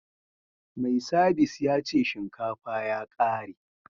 Mai sabis ya ce shinkafa ya kare